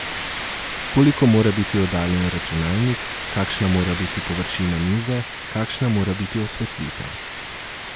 Koliko mora biti oddaljen računalnik, kakšna mora biti površina mize, kakšna mora biti osvetlitev.